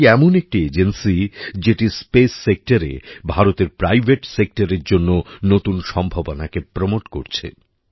এটি এমন একটি এজেন্সি যেটি স্পেস সেক্টরে ভারতের প্রাইভেট সেক্টরের জন্য নতুন সম্ভাবনাকে প্রমোট করছে